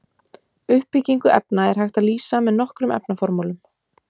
Uppbyggingu efna er hægt að lýsa með nokkrum efnaformúlum.